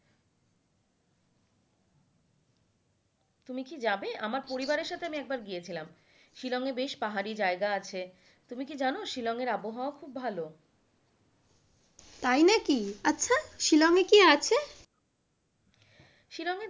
তুমি কি যাবে আমার পরিবারের সাথে আমি একবার গিয়েছিলাম শিলং এ বেশ পাহাড়ী জায়গা আছে, তুমি কি জানো শিলং এর আবহাওয়া খুব ভালো। তাই নাকি আচ্ছা শিলং এ কি আছে?